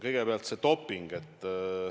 Kõigepealt see doping.